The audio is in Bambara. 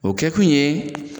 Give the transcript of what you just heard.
O kɛ kun ye